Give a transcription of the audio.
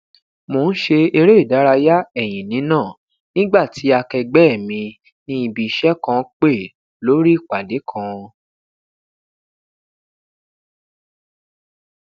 mo n ṣe ereidaraya ẹyin nina nigba ti akẹẹgbẹ mi ni ibi iṣẹ kan pe lori ipade kan